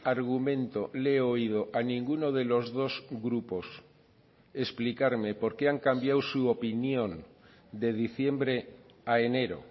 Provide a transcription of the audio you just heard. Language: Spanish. argumento le he oído a ninguno de los dos grupos explicarme porqué han cambiado su opinión de diciembre a enero